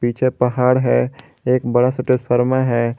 पीछे पहाड़ है एक बड़ा सा है।